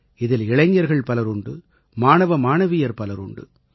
இதில் இளைஞர்கள் பலருண்டு மாணவமாணவியர் பலர் உண்டு